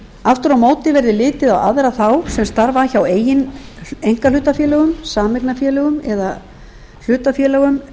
aftur á móti verði litið á aðra þá sem starfa hjá eigin einkahlutafélögum sameignarfélögum eða hlutafélögum